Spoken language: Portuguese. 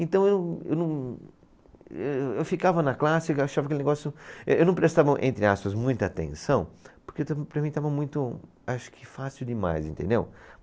Então, eu, eu não, eu, eu ficava na classe, achava aquele negócio, eh, eu não prestava, entre aspas, muita atenção, porque estava, para mim estava muito, acho que fácil demais, entendeu?